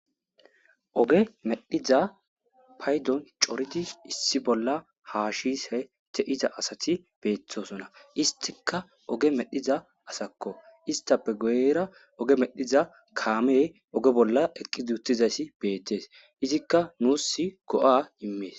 oge medhiza paydon coridi issi bolla ha shise te7iza asati beethosona istika oge medhiza asakko istape goyra oge medhiza kaame oge bolla eqqi duutizaysi beettees izikka nuus go7a immees